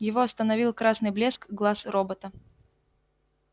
его остановил красный блеск глаз робота